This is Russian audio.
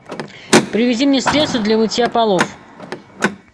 привези мне средство для мытья полов